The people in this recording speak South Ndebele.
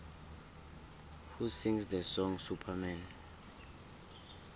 who sings the song superman